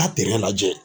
Taa lajɛ